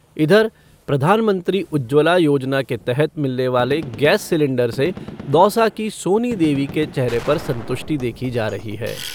इधर, प्रधानमंत्री उज्ज्वला योजना के तहत मिलने वाले गैस सिलेंडर से दौसा की सोनी देवी के चेहरे पर संतुष्टि देखी जा रही है।